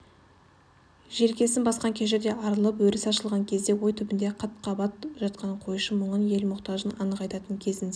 желкесін басқан кежірден арылып өрісі ашылған кезде ой түбінде қат-қабат жатқан қойшы мұңын ел мұқтажын анық айтатын кезінде